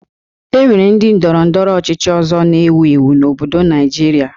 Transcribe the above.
E nwere ndị otu Ndọrọ ndọrọ ọchịchị ọzọ na-ewu ewu n'obodo Naịjirịa